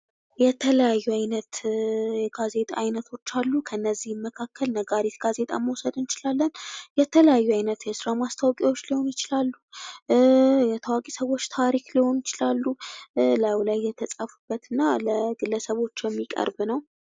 የተለያዩ አይነት የጋዜጣ አይነቶች አሉ። ከነዚህም መካከል ነጋሪት ጋዜጣን መውሰድ እንችላለን። የተለያዩ አይነት የስራ ማስታወቂያዎች ሊሆኑ ይችላሉ፤ የታዋቂ ሰዎች ታሪክ ሊሆኑ ይችላሉ እና እላዩ ላይ የተጻፉበት እና ለግለሰቦች የሚቀርብ ነው።